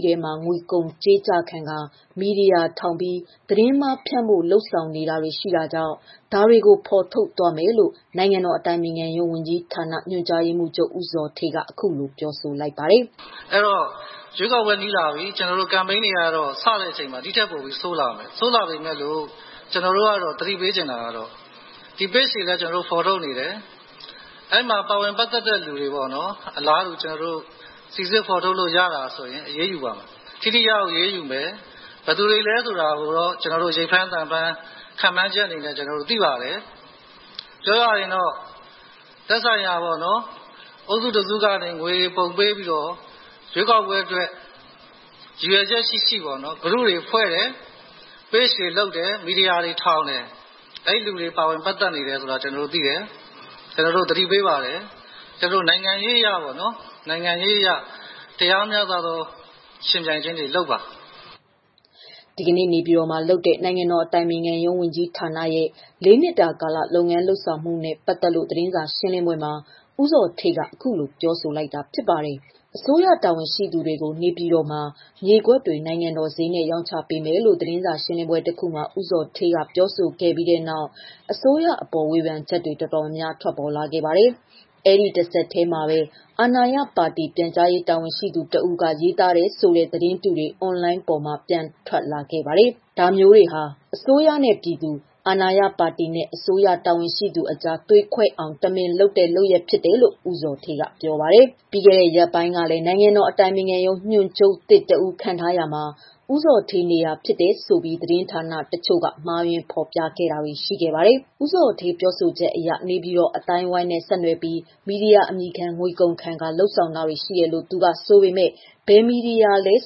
ထဲမှာ ငွေကုန်ကြေးကျခံကာ မီဒီယာထောင် သတင်းမှားဖြန့်ဖို့ လုပ်ဆောင်နေတာတွေ ရှိတာကြောင့်ဒါတွေကို ဖော်ထုတ် သွားမယ်လို့ နိုင်ငံတော်အတိုင်ပင်ခံရုံး ဝန်ကြီးဌာန ညွှန်ကြားရေးမှုးချုပ် ဦးဇော်ဌေးက အခုလိုပြောဆိုလိုက်တာပါ။ “အဲဒီတော့ ရွေးကောက်ပွဲနီးလာပြီ ကမ်ပိန်းတွေစရင် ဒီထပ်ပိုဆိုးလာမယ်။ ကျနော်တို့ကသတိပေး ချင်တယ် ဒီ Page တွေကျနော်တို့ဖော်ထုတ်နေတယ်။ အဲမှာပါဝင်ပတ်သတ်တဲ့လူတွေပေါ့နော် ကျနော်တို့ စိစစ်ဖော် ထုတ်ရတာဆို အရေးယူပါမယ်။ ထိထိရောက်ရောက်အရေးယူမယ်။ ဘယ်သူတွေလဲဆို တာကျနော်တို့ ရိပ်ဖမ်းသံဖမ်း သိပါတယ်။ ပြောရရင်တော့ သက်ဆိုင်ရာအုပ်စုတစုကနေ ငွေပုံပေးပြီးတော့ ရွေးကောက်ပွဲအတွက် ရည်ရွယ်ချက်ရှိရှိ Group တွေဖွဲ့တယ်၊ Page ထောင်တယ် ၊ မီဒီယာတွေ ထောင် တယ်။ အဲလူတွေပါဝင်ပတ်သတ်နေတယ်ဆိုတာကျေနာ်တို့သိတယ်၊ ကျနော်တို့သတိပေး ပါတယ်။ နိုင်ငံရေးအရ မျှမျှတတ ယှဉ်ပြိုင်စေချင်တယ်။” ဒီကနေ့ နေပြည်တော်မှာလုပ်တဲ့ နိုင်ငံတော်အတိုင်ပင်ခံရုံး ဝန်ကြီးဌာန ၄နှစ်တာကာလ လုပ်ငန်းလုပ်ဆောင်မှုနဲ့ ပတ်သတ်လို့ သတင်းစာရှင်းလင်းပွဲမှာ ဦးဇော်ဌေးကပြောဆို ခဲ့တာဖြစ်ပါတယ်။ အစိုးရတာဝန်ရှိသူတွေကို နေပြည်တော်မှာ မြေကွက်တွေ နိုင်ငံတော်ဈေးနဲ့ ရောင်းချပေးမယ်လို့ သတင်းစာ ရှင်းလင်းပွဲတခုမှာ ဦးဇော်ဌေးက ပြောဆိုခဲ့တဲ့နောက်၊ အစိုးရအပေါ် ဝေဖန်ချက်တွေ အတော်များများ ထွက်လာပါတယ်။ အဲဒီတဆက်တည်းမှာပဲ အာဏာရပါတီ ပြန်ကြားရေးတာဝန်ရှိသူတဦးက ရေးသားတယ်ဆိုတဲ့ သတင်းတုတွေ အွန်လိုင်းပေါ်မှာပြန့်ထွက်လာပါတယ်။ ဒါမျိုးတွေဟာ အစိုးရနဲ့ပြည်သူ၊ အာဏာရပါတီနဲ့ အစိုးရတာဝန်ရှိသူတွေအကြား သွေးခွဲအောင် တမင်လုပ်တဲ့ လုပ်ရပ်ဖြစ်တယ်လို့ ဦးဇော်ဌေးက ပြောပါတယ်။ ပြီးခဲ့တဲ့ ရက်ပိုင်းကလည်း နိုင်ငံတော်အတိုင်ပင်ခံရုံး ညွန်ချုပ်သစ်တဦးခန့်ထားရာမှာ ဦးဇော်ဌေးနေရာ ဖြစ်တယ်ဆိုပြီး သတင်းဌာနတချို့က မှားယွင်းဖော်ပြတာတွေ ဖြစ်ခဲ့ပါတယ်။ ဦးဇော်ဌေးပြောဆိုချက်အရ နေပြည်တော်အသိုင်းအဝိုင်းနဲ့ဆက်နွယ်ပြီး မီဒီယာ အမည်ခံ ငွေကုန်ခံ လုပ်ဆောင်တာတွေ တယ်လို့ သူကဆိုပေမယ့် ဘယ်မီဒီယာလည်း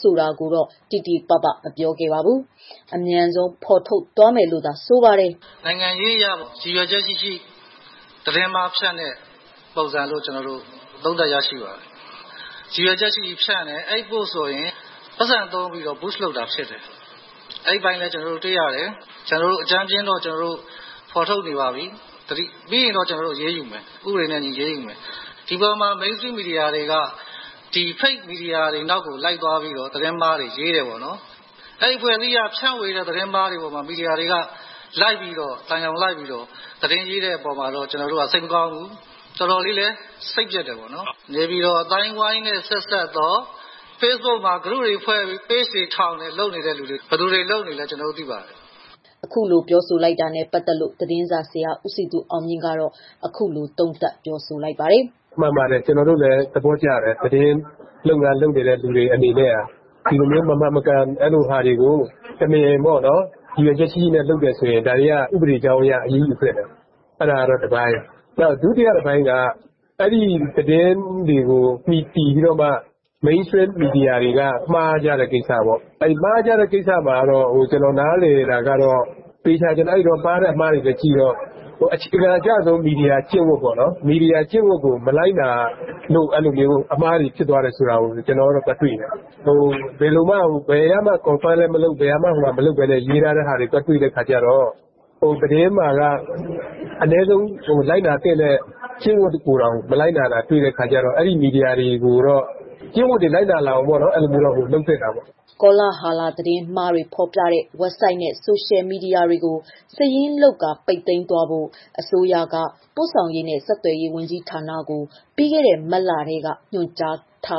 ဆိုတာ တိတိပပ မပြောခဲ့ပါဘူး။ အမြန်ဆုံး ဖော် ထုတ် မယ်လို့သာဆိုပါတယ်။ “နိုင်ငံရေးအရ ရည်ရွယ်ချက်ရှိရှိသတင်းမှားဖြန့်တဲ့ပုံစံလို့ ကျနော်တို့သုံးသပ်ပါတယ်။ ရည်ရွယ်ချက်ရှိရှိဖြန့်တယ် အဲဒီ post ဆိုရင် ငွေကုန်ခံ Boost လုပ်တာဖြစ်တယ်။ အဲဒီအပိုင်လည်း ကျနော်တို့ တွေ့ရတယ်။ အကြမ်းဖျဉ်းတော့ ကျနော်တို့ ဖော်ထုတ်နေပြီ။ ပြီးရင် ဥပဒေနဲ့အညီ အရေးယူမယ်။ Mainstream မီဒီယာတွေက Fake မီဒီယာတွေနောက်လိုက်ပြီး သတင်းမှားတွေ ရေးတယ်။ အဲဒီအဖွဲ့အစည်းက ဖြန့်ဝေတဲ့ သတင်းမှားတွေကို မီဒီယာတွေက လိုက်ပြီး သံယောင်လိုက် သတင်းရေးတာကို တွေ့ရတာတော့ အတော်ကိုစိတ်မကောင်းဘူး။ တော်တော်စိတ်ပျက်တယ်။ နေပြည်တော် အသိုင်းအဝိုင်းနဲ့ ဆက်စပ်ပြီးတော့ facebook မှာ Page တွေထောင်၊ Group တွေဖွဲ့တယ် ဘယ်သူတွေလုပ်နေလဲ ကျနော်တို့သိပါတယ်” အခုလိုပြောဆိုတာနဲ့ ပတ်သတ်လို့ သတင်းစာဆရာ ဦးစည်သူအောင်မြင့်ကတော့ အခုလို သုံးသပ်ပြောဆိုလိုက်ပါတယ်။ “မှန်ပါတယ် ကျနော်တို့လည်းသဘောကျတယ်။သတင်းလုပ်ငန်းလုပ်နေတဲ့သူတွေအနေနဲ့ ဒီလို မမှန်မကန်တာတွေကို တမင် ရည်ရွယ်ချက်ရှိရှိလုပ်နေတယ်ဆိုရင် ဒါတွေက ဥပဒေနဲ့အညီ အရေးယူသင့်တယ် အဲဒါက တပိုင်း။ ဒုတိယတပိုင်းက အဲဒီသတင်းတွေကိုမူတည်ပြီးတော့ Mainstream မီဒီယာတွေက မှားကြတဲ့ ကိစ္စပေါ့။ အဲလိုမှားတဲ့ကိစ္စမှာ ကျနော်နားလည်တာကတော့ ပြန်ကြည့်ရင် အခြေခံအကျဆုံး သတင်းမီဒီယာကျင့်ဝတ်ကို မလိုက်နာလို့ အဲလိုမျိုးအမှားတွေ ဖြစ်သွားတယ်ဆိုတာကို ကျနော်ကတော့ သွားတွေ့တယ်။ ဘယ်ကမှ Confirm လည်းမလုပ်ပဲနဲ့ ရေးထားတာသွားတွေ့တဲ့အခါကျတော့ သတင်းအမှန်က အနည်းဆုံးလိုက်နာသင့်တဲ့ ကျင့်ဝတ်ကိုယ်တောင် မလိုက်နာတာ တွေ့တဲ့အခါကျတော့ အဲမီဒီယာတွေကို ကျင့်ဝတ်လိုက်နာလာအောင် လုပ်သင့်တာပေါ့။” ကောလာဟလ သတင်းမှားများ ဖော်ပြတဲ့ ဝက်ဘ်ဆိုက်နဲ့ဆိုရှယ် မီဒီယာတွေကို စာရင်း လုပ်ကာ ပိတ်သိမ်းသွားဖို့ကို အစိုးရက ပို့ဆောင်ရေးနဲ့ဆက်သွယ်ရေးဝန်ကြီးဌာနကို ပြီးခဲ့တဲ့ မတ်လကထဲက ညွှန်ကြားထား